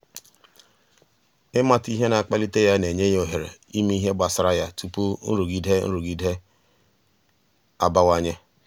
ịmata ihe na-akpalite ya na-enye ya ohere ime ihe gbasara ya tupu nrụgide nrụgide abawanye.